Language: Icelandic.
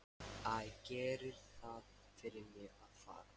Æ, gerið það fyrir mig að fara.